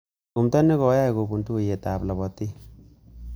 Tumndo nekokyai kopun tuiyetab lapatik